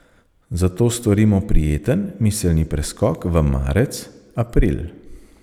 Zato storimo prijeten miselni preskok v marec, april.